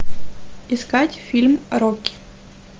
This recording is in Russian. искать фильм рокки